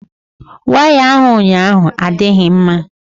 Waya ahụ ụnyaahụ adịghị mma.